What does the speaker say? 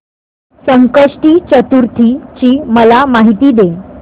संकष्टी चतुर्थी ची मला माहिती दे